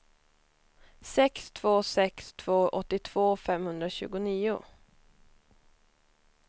sex två sex två åttiotvå femhundratjugonio